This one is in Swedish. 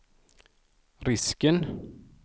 risken